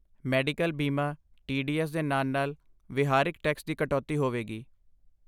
medical ਬੀਮਾ, TDS ਦੇ ਨਾਲ ਨਾਲ ਵਿਹਾਰਿਕ ਟੈਕਸ ਦੀ ਕਟੌਤੀ ਹੋਵੇਗੀ